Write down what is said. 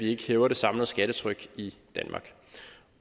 ikke hæver det samlede skattetryk i danmark